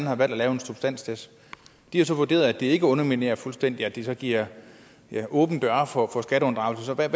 har valgt at lave en substanstest de har så vurderet at det ikke underminerer fuldstændig og at det giver åbne døre for skatteunddragelse så hvad